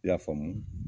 I y'a faamu